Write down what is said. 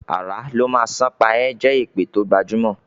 "Àrà ló má sàn pa e" is a jé èpè to gbajumo.